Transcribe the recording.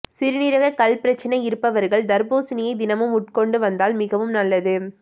சிறுநீரக கல் பிரச்னை இருப்பவர்கள் தர்பூசணியை தினமும் உட்கொண்டு வந்தால் மிகவும் நல்லது